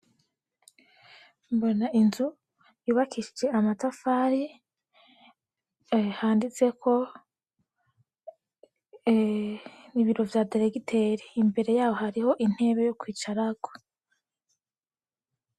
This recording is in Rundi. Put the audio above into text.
Mbona inzu yubakishije amatafari, handitseko ibiro vya deregiteri, imbere yaho hariho intebe yo kwicarako.